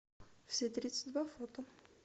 все тридцать два фото